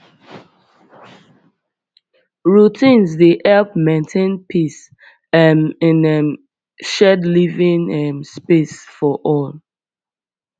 routines dey help maintain peace um in um shared living um space for all